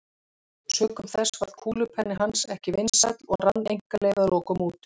Sökum þess varð kúlupenni hans ekki vinsæll og rann einkaleyfið að lokum út.